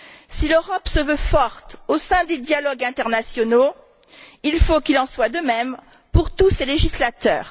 Si l'Europe se veut forte au sein des dialogues internationaux, il faut qu'il en soit de même pour tous ses législateurs.